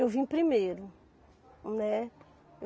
Eu vim primeiro, né?